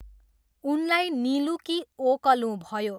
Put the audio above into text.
उनलाई निलूँ कि ओकलूँ भयो।